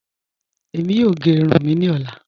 Ẹ̀mí yóò gé ìrùn mí ni ọ̀lá.